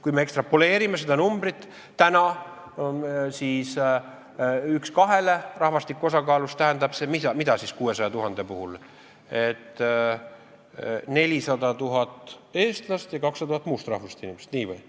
Kui me ekstrapoleerime seda numbrit, siis kas rahvastiku osakaalus tähendab see 600 000, et on 400 000 eestlast ja 200 000 muust rahvusest inimest?